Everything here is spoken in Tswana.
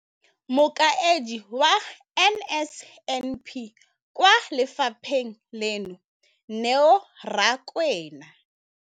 Mokaedi wa NSNP kwa lefapheng leno, Neo Rakwena.